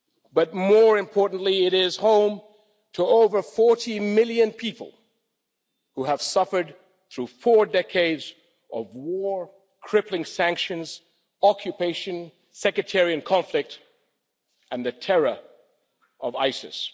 But more importantly, it is home to over 40 million people, who have suffered through four decades of war, crippling sanctions, occupation, sectarian conflict, and the terror of ISIS.